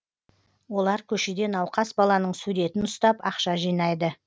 олар көшеде науқас баланың суретін ұстап ақша жинайды